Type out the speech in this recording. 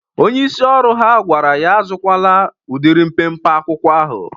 Onyeisi ọrụ ha gwara ya azụkwala udịrị mpempe akwụkwọ ahụ.